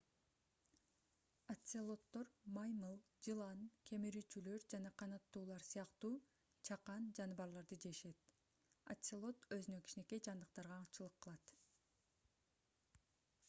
оцелоттор маймыл жылан кемирүүчүлөр жана канаттуулар сыяктуу чакан жаныбарларды жешет оцелот өзүнөн кичинекей жандыктарга аңчылык кылат